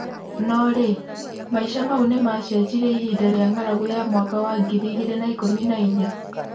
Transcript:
No-rĩ, maisha mau nĩ macejĩrie ihinda rĩa ng'aragu ya mwaka wa ngiri igĩrĩ na-ikũmi na-inya.